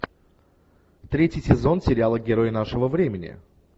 третий сезон сериала герои нашего времени